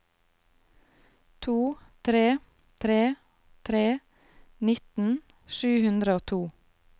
to tre tre tre nitten sju hundre og to